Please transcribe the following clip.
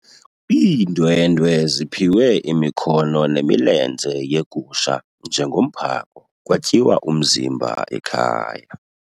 Iindwendwe ziphiwe imikhono nemilenze yegusha njengomphako kwatyiwa umzimba ekhaya.